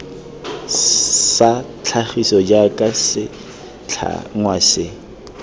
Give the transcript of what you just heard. sa tlhagiso jaaka setlhangwa se